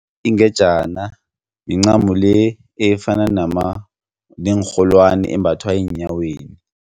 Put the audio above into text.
Ingejana mincamo le efana neenrholwani embathwa eenyaweni.